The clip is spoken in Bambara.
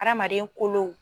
Hadamaden kolow